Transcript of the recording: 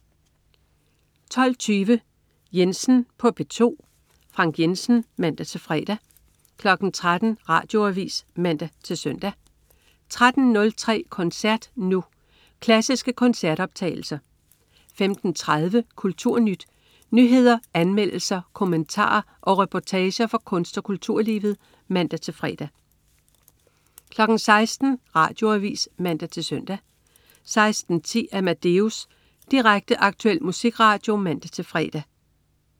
12.20 Jensen på P2. Frank Jensen (man-fre) 13.00 Radioavis (man-søn) 13.03 Koncert Nu. Klassiske koncertoptagelser 15.30 KulturNyt. Nyheder, anmeldelser, kommentarer og reportager fra kunst- og kulturlivet (man-fre) 16.00 Radioavis (man-søn) 16.10 Amadeus. Direkte, aktuel musikradio (man-fre)